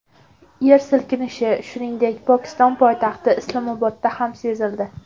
Yer silkinishi, shuningdek, Pokiston poytaxti Islomobodda ham sezildi.